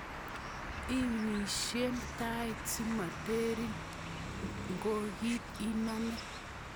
Imeisyi tait simotiren nkokiet inome.